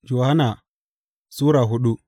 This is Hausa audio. Yohanna Sura hudu